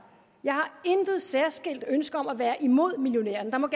jeg intet særskilt ønske har om at være imod millionærerne der må